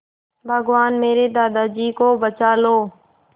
भगवान मेरे दादाजी को बचा लो